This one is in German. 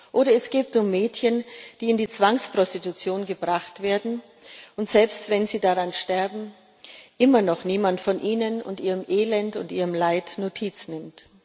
Oder es geht um Mädchen, die in die Zwangsprostitution gebracht werden, wo, selbst wenn sie daran sterben, immer noch niemand von ihnen, ihrem Elend und ihrem Leid Notiz nimmt.